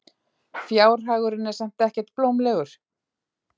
Fjárhagurinn er samt ekkert blómlegur.